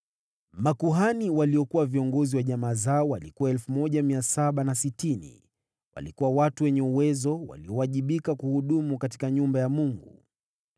Makuhani waliokuwa viongozi wa jamaa zao walikuwa 1,760. Walikuwa watu wenye uwezo, waliowajibika kuhudumu katika nyumba ya Mungu.